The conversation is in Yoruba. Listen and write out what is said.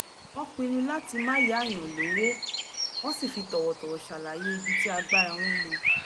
wọ́n pinnu láti má yáyàn lówó wọ́n sì fi tọ̀wọ̀tọ̀wọ̀ ṣàlàyé ibi tí agbára wọn mọ